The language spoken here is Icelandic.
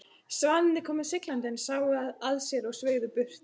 Svanirnir komu siglandi en sáu að sér og sveigðu burt.